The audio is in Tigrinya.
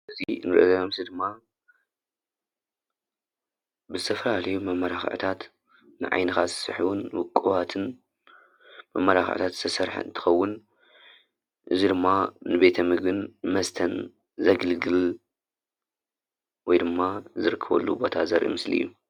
እዚ እንሪኦ ምስሊ ድማ ብዝተፈላለዩ መማላኽዕታት ንዓይንካ ዝስሕቡን ዉቁባትን መመላክዒ ዝተሰርሐ እንትኸዉን እዚ ድማ ንቤት ምግብን መስተን ዘገልግል እዩ። ወይ ድማ ዝርከበሉ ቦታ ዘርኢ ምስሊ እዩ።